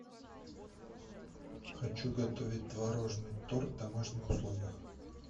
хочу готовить творожный торт в домашних условиях